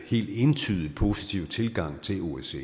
helt entydigt positiv tilgang til osce